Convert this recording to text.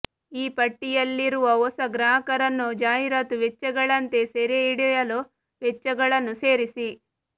ಈ ಪಟ್ಟಿಯಲ್ಲಿರುವ ಹೊಸ ಗ್ರಾಹಕರನ್ನು ಜಾಹೀರಾತು ವೆಚ್ಚಗಳಂತೆ ಸೆರೆಹಿಡಿಯಲು ವೆಚ್ಚಗಳನ್ನು ಸೇರಿಸಿ